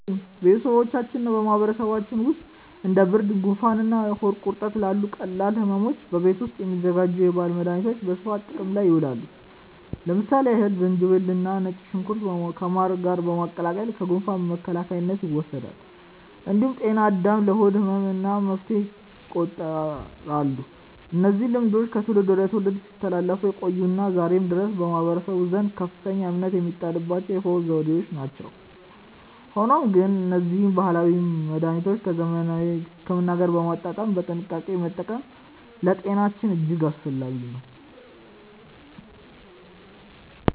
በቤተሰባችንና በማህበረሰባችን ውስጥ እንደ ብርድ፣ ጉንፋንና ሆድ ቁርጠት ላሉ ቀላል ሕመሞች በቤት ውስጥ የሚዘጋጁ የባህል መድኃኒቶች በስፋት ጥቅም ላይ ይውላሉ። ለምሳሌ ያህል ዝንጅብልና ነጭ ሽንኩርት ከማር ጋር በመቀላቀል ለጉንፋን መከላከያነት ይወሰዳል። እንዲሁም ጤና አዳም ለሆድ ህመም እንደ መፍትሄ ይቆጠራሉ። እነዚህ ልማዶች ከትውልድ ወደ ትውልድ ሲተላለፉ የቆዩና ዛሬም ድረስ በማህበረሰቡ ዘንድ ከፍተኛ እምነት የሚጣልባቸው የፈውስ ዘዴዎች ናቸው። ሆኖም ግን እነዚህን ባህላዊ መድኃኒቶች ከዘመናዊ ሕክምና ጋር በማጣጣም በጥንቃቄ መጠቀም ለጤናችን እጅግ አስፈላጊ ነው።